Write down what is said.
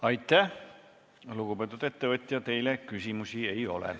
Aitäh, lugupeetud ettevõtja, teile küsimusi ei ole.